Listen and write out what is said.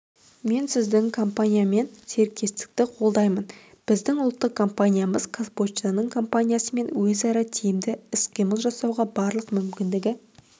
мен сіздің компаниямен серіктестікті қолдаймын біздің ұлттық компаниямыз қазпоштаның компаниясымен өзара тиімді іс-қимыл жасауға барлық мүмкіндігі